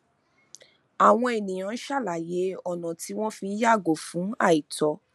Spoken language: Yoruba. àwọn ènìyàn ń sàlàyé ọnà tí wọn fi ń yàgò fún àìtọ